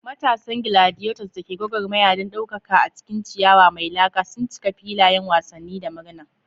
Matasan gladiators da ke gwagwarmaya don daukaka a cikin ciyawa mai laka sun cika filayen wasanni da murna.